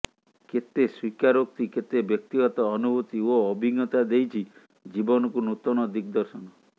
କେତେ ସ୍ୱୀକାରୋକ୍ତି କେତେ ବ୍ୟକ୍ତିଗତ ଅନୁଭୂତି ଓ ଅଭିଜ୍ଞତା ଦେଇଛି ଜୀବନକୁ ନୂତନ ଦିଗଦର୍ଶନ